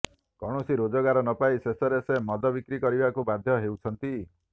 କୌଣସି ରୋଜଗାର ନପାଇ ଶେଷରେ ସେ ମଦ ବିକ୍ରି କରିବାକୁ ବାଧ୍ୟ ହେଉଛନ୍ତି